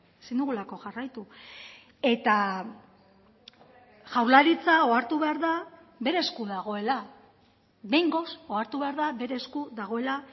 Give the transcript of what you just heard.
ezin dugulako jarraitu eta jaurlaritza ohartu behar da bere esku dagoela behingoz ohartu behar da bere esku dagoela